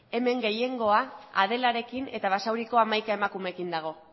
hemen gehiengoa adelarekin eta basauriko hamaika emakumeekin dago